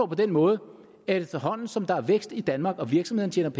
på den måde at efterhånden som der er vækst i danmark og virksomhederne